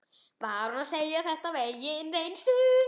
Var hún að segja þetta af eigin reynslu?